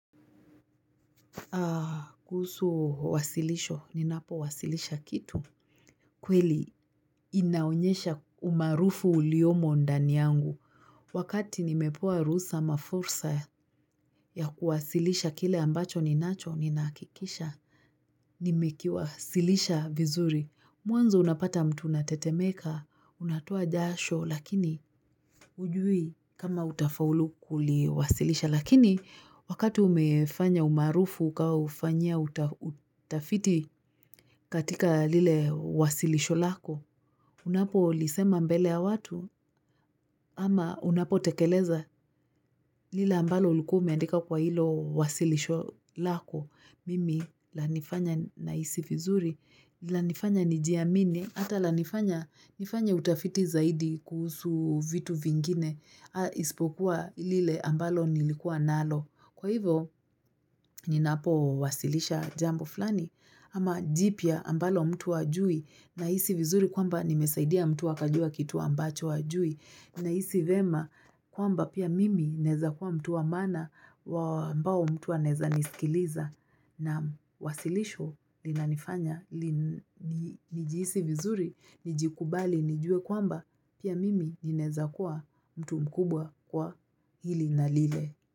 Kuhusu wasilisho, ninapowasilisha kitu. Kweli, inaonyesha umaarufu uliyomo ndani yangu. Wakati nimepewa ruhusa ama fursa ya kuwasilisha kile ambacho ninacho, ninakikisha. Nimekiwasilisha vizuri. Mwanzo unapata mtu natetemeka, unatoa jasho, lakini hujui kama utafaulu kuli wasilisha. Lakini wakati umefanya umaarufu ukaufanyia utafiti katika lile wasilisho lako, unapo lisema mbele ya watu ama unapo tekeleza lile ambalo ulikua umeandika kwa hilo wasilisho lako. Mimi lanifanya nahisi vizuri, lanifanya nijiamini, ata lanifanya nifanye utafiti zaidi kuhusu vitu vingine, ispokuwa lile ambalo nilikua nalo. Kwa hivo, ninapo wasilisha jambo flani ama jipya ambalo mtu hajui nahisi vizuri kwamba nimesaidia mtu akajua kitu ambacho hajui nahisi vema kwamba pia mimi naeza kuwa mtu wa maana wa ambao mtu waneza nisikiliza na wasilisho linanifanya nijihisi vizuri, nijikubali, nijue kwamba pia mimi ninaeza kuwa mtu mkubwa kwa hili na lile.